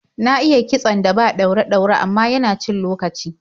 Na iya kitson da ba ɗaure-ɗaure, amma yana cin lokaci.